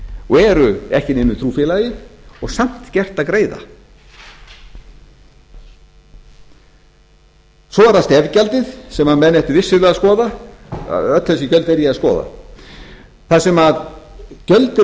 og eru ekki í neinu trúfélagi og samt gert að og eru ekki í neinu trúfélagi og samt gert að greiða svo er það stef gjaldið sem einn ættu vissulega að skoða öll þessi gjöld er ég að skoða þar sem gjöld eru